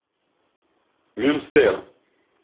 мюнстер